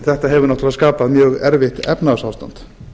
þetta hefur náttúrulega skapað mjög erfitt efnahagsástand